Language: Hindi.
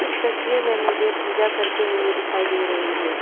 इस तस्वीर में मुझे पूजा करते हुए दिखाई दे रही है।